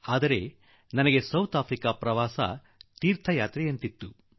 ಆದರೆ ನನ್ನ ಮಟ್ಟಿಗೆ ದಕ್ಷಿಣ ಆಫ್ರಿಕಾ ಪ್ರವಾಸ ಒಂದು ರೀತಿಯಲ್ಲಿ ತೀರ್ಥಯಾತ್ರೆ ಆಗಿತ್ತು